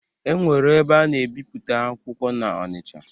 Enwere ebe ana ebipụta akwụkwọ na-Ọnicha.